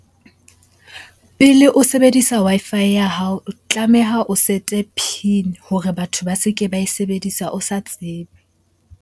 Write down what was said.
Pele o sebedisa Wi-Fi ya hao, o tlameha o set-e PIN hore batho ba se ke ba e sebedisa o sa tsebe.